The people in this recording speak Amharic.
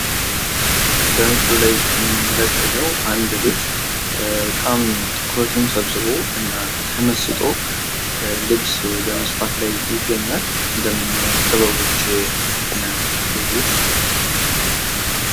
በምስሉ ላይ እንደምናየው አንድ ልጅ በጣም ተመስጦ ትኩረቱን ሰብስቦ ልብስ በመስፋት ላይ ይገኛል። እንደምናየው ጥበቦች ናቸው ያሉት ቤቱ ዉስጥ።